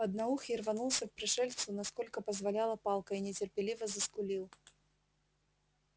одноухий рванулся к пришельцу насколько позволяла палка и нетерпеливо заскулил